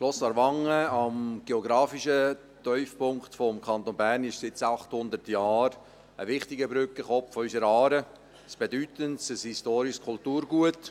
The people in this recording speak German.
Das Schloss Aarwangen, am geografischen Tiefpunkt des Kantons Bern, ist seit 800 Jahren ein wichtiger Brückenkopf unserer Aare, ein bedeutendes, ein historisches Kulturgut.